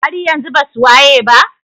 haryanzun basu wayeba?